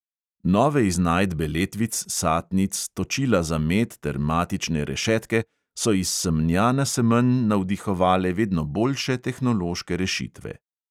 Nove iznajdbe letvic, satnic, točila za med ter matične rešetke so iz semnja na semenj navdihovale vedno boljše tehnološke rešitve.